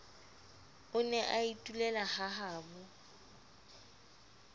o ne a itulela hahabo